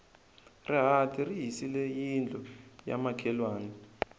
rihati ri hisile yindlu ya makhelwani